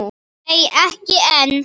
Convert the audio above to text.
Nei, ekki enn.